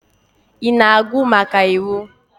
Ị na-agụ maka iwu?